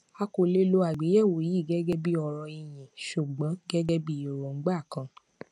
a kò lè lo àgbéyẹwò yii gẹgẹbí ọrọ ìyìn ṣùgbọn gẹgẹbí èròngbà kan